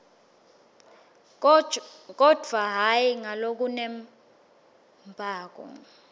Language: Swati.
kodvwa hhayi ngalokunembako